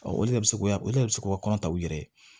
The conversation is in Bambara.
o de bɛ se k'o de se k'o kɔnɔta u yɛrɛ ye